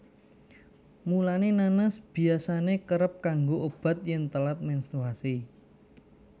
Mulané nanas biyasané kerep kanggo obat yèn telat menstruasi